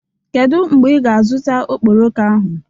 Kedu mgbe ị ga-azụta okporoko ahụ?